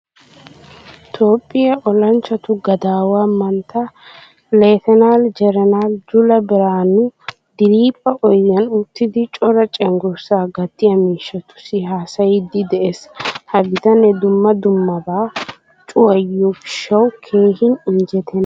Toophphiyaa olanchchatu gadaawa mantta letenal general jula biranu diriphpha oydiyan uttidi cora cenggurssa gatiya miishshatusi haasayidi de'ees. Ha bitane dumma dummaba cuwayiyo gishawu keehin injjetena.